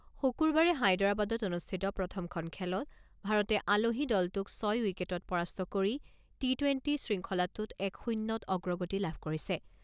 শুকুৰবাৰে হায়দৰাবাদত অনুষ্ঠিত প্ৰথমখন খেলত ভাৰতে আলহী দলটোক ছয় উইকেটত পৰাস্ত কৰি টি টুৱেণ্টি শৃংখলাটোত এক শূণ্যত অগ্ৰগতি লাভ কৰিছে।